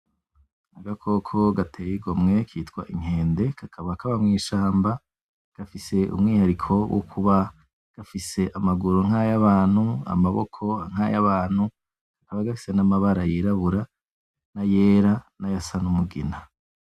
Agakoko gateye igomwe kitwa inkende kakaba kaba mwishamba gafise umwihariko wukuba gafise amaguru nkayabantu , amaboko nkayabantu, kakaba gafise namabara yirabura nayera , nayasa numugina .